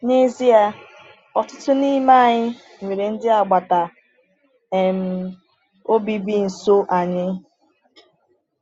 N’ezie, ọtụtụ n’ime anyị nwere ndị agbata um obi bi nso anyị.